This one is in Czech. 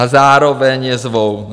A zároveň je zvou.